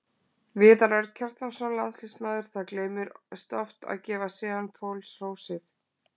Viðar Örn Kjartansson, landsliðsmaður Það gleymist oft að gefa Sean Paul hrósið.